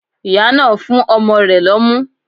Ìyá náà nfún ọmọ rẹ̀ lọ́mú